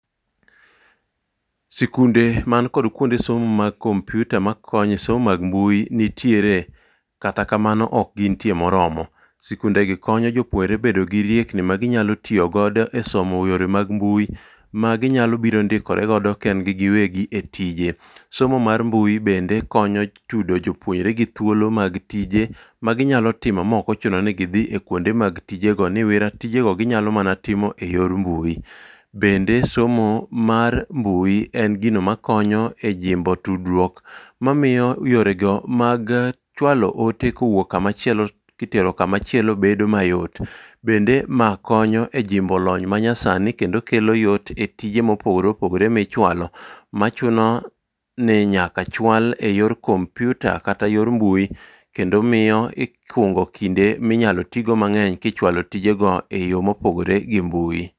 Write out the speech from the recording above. Sikunde man kod kuonde somo mag komputa ma konyo e somo mag mbui nitiere. Kata kamano ok gintie moromo. Sikunde gi konyo jopuere bedo gi riekni ma ginyalo tiyo godo e somo yore mag mbui ma ginyalo biro ndikore godo kendgi giwegi e tije. Somo mar mbui bende konyo chudo jopuere gi thuolo mag tije ma ginyalo timo ma ok ochuno ni gidhi e kuonde mag tije ni, niwera tije go ginyalo mana timo e yor mbui. Bende somo mar mbui en gino ma konyo e jimbo tudruok mamiyo yore go mag chwalo ote kowuok kama chielo kitero kama chielo bedo mayot. Bende ma konyo e jimbo lony manyasani kendo kelo yot e tije mopogore opogore michwalo, machuno ni nyaka chwal e yor komputa kata yor mbui kendo miyo ikungo kinde minyalo ti go mang'eny kichwalo tije go e yo mopogore gi mbui.